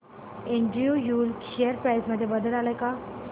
Andrew Yule share price मध्ये बदल आलाय का